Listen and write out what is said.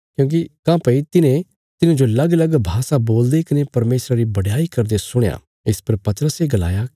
काँह्भई तिन्हें तिन्हांजो लगलग भाषा बोलदे कने परमेशरा री बडयाई करदे सुणया इस पर पतरसे गलाया